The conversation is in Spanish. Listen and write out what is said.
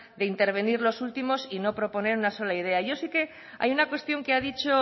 de intervenir los últimos y no proponer una sola idea yo sí que hay una cuestión que ha dicho